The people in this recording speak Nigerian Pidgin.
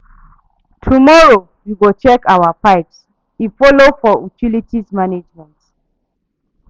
Tomorrow, we go check our pipes, e folo for utilities management.